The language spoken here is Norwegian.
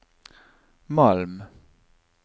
Malm